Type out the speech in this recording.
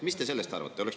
Mis te sellest arvate?